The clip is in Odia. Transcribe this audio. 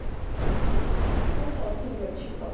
ହଉ ହଉ ଠିକ ଅଛି